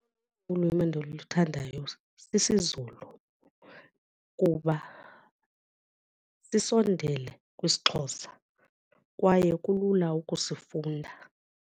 Ulwimi endiluthandayo sisiZulu kuba sisondele kwisiXhosa kwaye kulula ukusifunda.